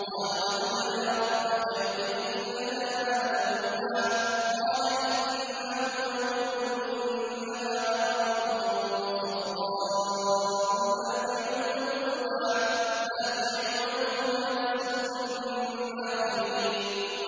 قَالُوا ادْعُ لَنَا رَبَّكَ يُبَيِّن لَّنَا مَا لَوْنُهَا ۚ قَالَ إِنَّهُ يَقُولُ إِنَّهَا بَقَرَةٌ صَفْرَاءُ فَاقِعٌ لَّوْنُهَا تَسُرُّ النَّاظِرِينَ